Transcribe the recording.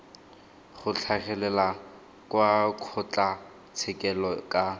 go tlhagelela kwa kgotlatshekelo ka